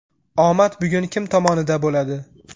Omad bugun kim tomonida bo‘ladi?